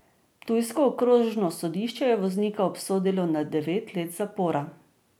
Ptujsko okrožno sodišče je voznika obsodilo na devet let zapora.